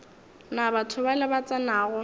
na batho bale ba tsenago